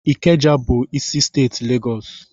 Ikeja bụ isi steeti Legọs.